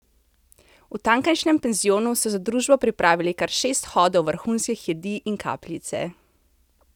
V tamkajšnjem penzionu so za družbo pripravili kar šest hodov vrhunskih jedi in kapljice.